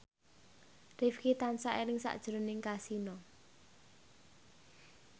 Rifqi tansah eling sakjroning Kasino